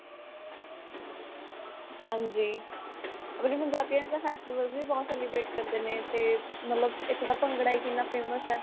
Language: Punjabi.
ਹਾਂਜੀ. festivals ਵੀ ਬਹੁਤ celebrate ਕਰਦੇ ਨੇ, ਤੇ ਮਤਲਬ ਏਥੋਂ ਦਾ ਭੰਗੜਾ ਹੀ ਕਿੰਨਾ famous ਹੈ.